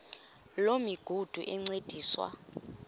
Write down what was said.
loo migudu encediswa